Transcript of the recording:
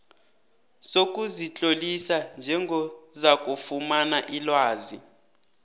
sokuzitlolisa njengozakufumana ilwazi